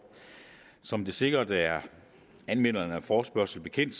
som det sikkert er anmelderne af forespørgslen bekendt